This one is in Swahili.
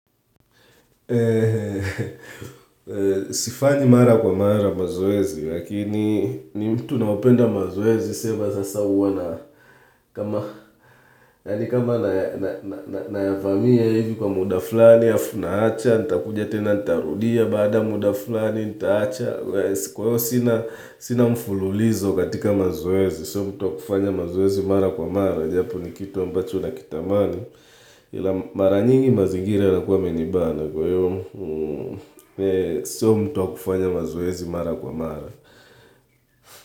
Sifanyi mara kwa mara mazoezi, lakini ni mtu naopenda mazoezi, sema sasa huwa na kama nayavamia hivi kwa muda fulani, afu naacha, nitakuja tena, nitarudia baada ya muda fulani, nitaacha Kwa hiyo sina mfululizo katika mazoezi, sio mtu wa kufanya mazoezi mara kwa mara japo ni kitu ambacho nakitamani, ila mara nyingi mazigira yanakuwa yamenibana kwa hiyo. Sio mtu wa kufanya mazoezi mara kwa mara.